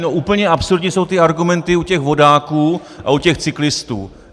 No, úplně absurdní jsou ty argumenty u těch vodáků a u těch cyklistů.